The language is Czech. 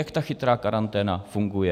Jak ta chytrá karanténa funguje?